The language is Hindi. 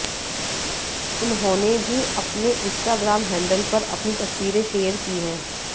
उन्होंने भी अपने इंस्टाग्राम हैंडल पर अपनी तस्वीरें शेयर की हैं